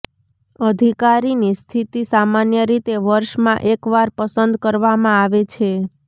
અધિકારીની સ્થિતિ સામાન્ય રીતે વર્ષમાં એક વાર પસંદ કરવામાં આવે છે